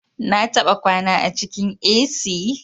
Na taba kwana a cikin A.c